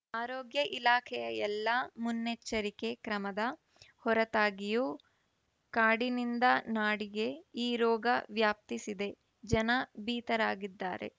ಆರೋಗ್ಯ ಇಲಾಖೆಯ ಎಲ್ಲ ಮುನ್ನೆಚ್ಚರಿಕೆ ಕ್ರಮದ ಹೊರತಾಗಿಯೂ ಕಾಡಿನಿಂದ ನಾಡಿಗೆ ಈ ರೋಗ ವ್ಯಾಪಿಸಿದೆ ಜನ ಭೀತರಾಗಿದ್ದಾರೆ